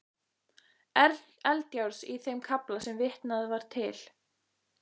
Eldjárns í þeim kafla sem vitnað var til.